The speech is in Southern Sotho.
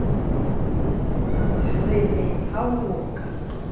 re le ha ho ka